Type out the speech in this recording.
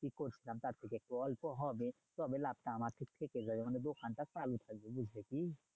ই করতাম তার থেকে একটু অল্প হবে তবে লাভটা আমার ঠিক থেকে যাবে মানে দোকানটা চালু থাকবে, বুঝলে কি?